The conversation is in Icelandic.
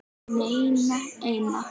Ekki neina eina.